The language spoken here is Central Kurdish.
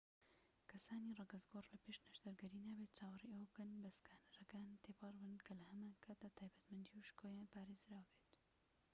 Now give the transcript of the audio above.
کەسانی ڕەگەزگۆڕ لە پێش نەشتەرگەری نابێت چاوەڕێی ئەوە بکەن بە سکانەرەکان تێپەڕن کە لە هەمان کاتدا تایبەتمەندی و شکۆیان پارێزراو بێت